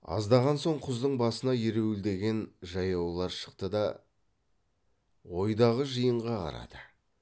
аздан соң құздың басына ереуілдеген жаяулар шықты да ойдағы жиынға қарады